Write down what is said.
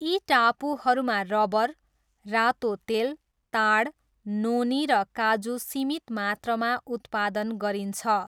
यी टापुहरूमा रबर, रातो तेल, ताड, नोनी र काजु सीमित मात्रामा उत्पादन गरिन्छ।